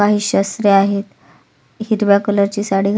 काही शस्रे आहेत हिरव्या कलरची साडी--